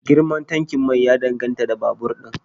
Girman tankin mai ya danganta da babur din